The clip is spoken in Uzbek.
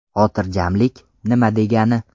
Xotirjamlik nima degani?